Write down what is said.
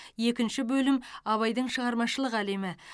екінші бөлім абайдың шығармашылық әлемі